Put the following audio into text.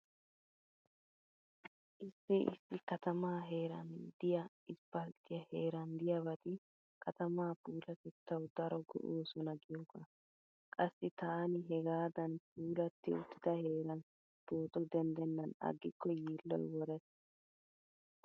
Issi issi katamaa heeran diya isppalttiya heeran diyabati katamaa puulatettawu daro go'oosona giyoogaa. Qassi taani hegaadan puulatti uttida heeran pooto denddennan aggikko yiilloy worees.